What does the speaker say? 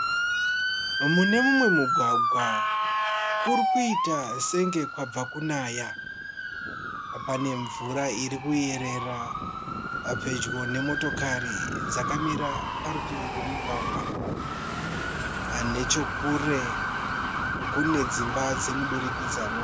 Mune mumwe mugwagwa kurikuita senge kwabva kunaya. Pane mvura irikuyerera pedyo nemotokari dzakamira parutivi pemugwagwa, nechekure kune dzimba dzemudurikidzwa